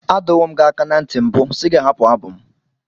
Adọwo m gị aka ná ntị mbụ si gị hapụ abụ m.